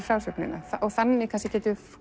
frásögnina þannig getum